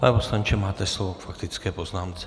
Pane poslanče, máte slovo k faktické poznámce.